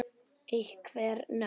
Einhver nöfn?